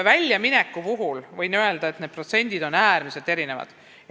Väljamineku kohta võin öelda, et need protsendid on äärmiselt erinevad.